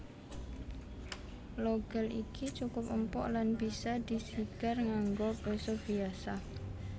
Logal iki cukup empuk lan bisa disigar nganggo péso biasa